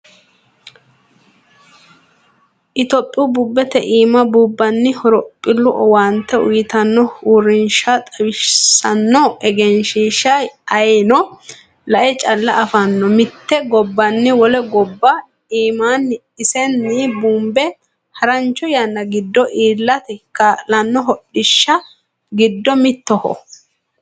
Itophiyu bubete iima buunbanni horophilu owaante uyittano uurrinsha xawisano egenshiishsha ayeeno lae calla afano mite gobbani wole gobba iimani isinni bunbe haranocho yanna giddo iillate kaa'lano hodhishi giddo mittoho.